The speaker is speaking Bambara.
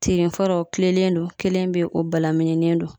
Tirin fɔlɔ o kilennen do kelen be yen o balabilinen do